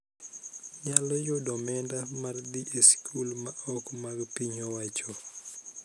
Nyalo yudo omenda mar dhi e skul ma ok mag piny owachoo.